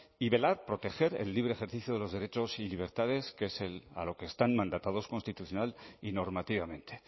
y velar proteger el libre ejercicio de los derechos y libertades que es a lo que están mandatados constitucional y normativamente